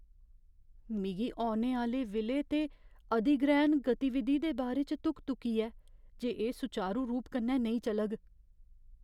मिगी औने आह्‌ले विलय ते अधिग्रैह्ण गतिविधि दे बारे च धुक धुकी ऐ जे एह् सुचारू रूप कन्नै नेईं चलग।